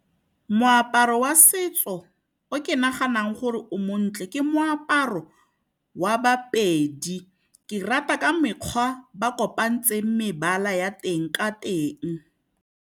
Moaparo wa setso o ke naganang gore o montle ke moaparo wa baPedi. Ke rata ka mekgwa ba kopanetse mebala ya teng ka teng.